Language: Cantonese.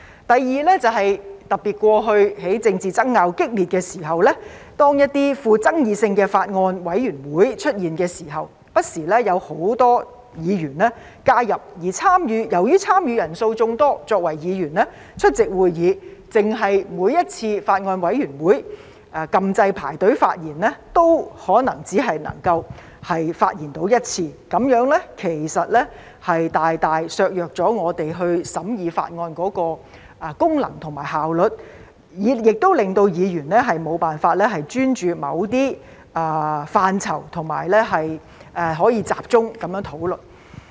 第二，特別是過去在政治爭拗激烈時，當一些富爭議性的法案委員會出現時，不時有很多議員加入，而由於參與人數眾多，作為議員出席會議，單是在每次法案委員會會議按"要求發言"按鈕輪候發言，或許也只可能發言一次，這樣其實大大削弱了我們審議法案的功能和效率，亦令議員無法專注於某些範疇和集中討論。